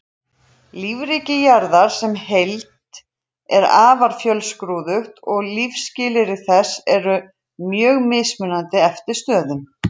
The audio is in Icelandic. Lífríki jarðar sem heild er afar fjölskrúðugt og lífsskilyrði þess eru mjög mismunandi eftir stöðum.